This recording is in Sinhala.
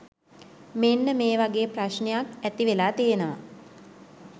මෙන්න මේ වගේ ප්‍රශ්නයක්‌ ඇතිවෙලා තියෙනවා.